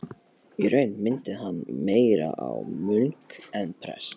Í raun minnti hann meira á munk en prest.